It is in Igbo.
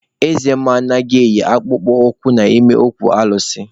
Eze mmụọ anaghị eyi akpụkpọ ụkwụ n'ime okwu alụsị.